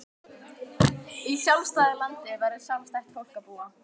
Í sjálfstæðu landi verður sjálfstætt fólk að búa.